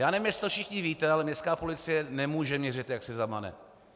Já nevím, jestli to všichni víte, ale městská policie nemůže měřit, jak si zamane.